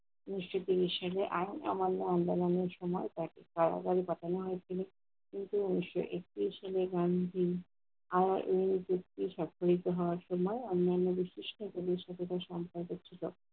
উনিশশো তেইশ সালে আর আমণ্ড আমদাগানির সময় তাকে কারাগারে পাঠানো হয়। তিনি আরা এই ব্যক্তি স্বাক্ষরিত হওয়ার সময় অন্যান্য গোষ্ঠীর মেয়ের সাথে এদের সম্পর্ক ছিল।